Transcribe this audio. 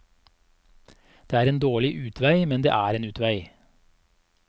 Det er en dårlig utvei, men det er en utvei.